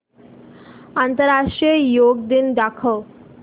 आंतरराष्ट्रीय योग दिन दाखव